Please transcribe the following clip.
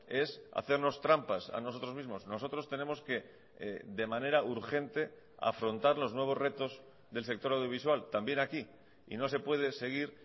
es hacernos trampas a nosotros mismos nosotros tenemos que de manera urgente afrontar los nuevos retos del sector audiovisual también aquí y no se puede seguir